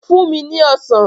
Fún mi ní Ọsàn!